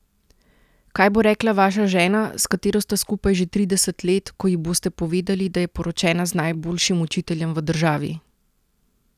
Kaj bo rekla vaša žena, s katero sta skupaj že trideset let, ko ji boste povedali, da je poročena z najboljšim učiteljem v državi?